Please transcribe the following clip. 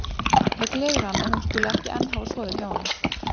Það gleður hann að hún skuli ekki enn hafa sofið hjá honum.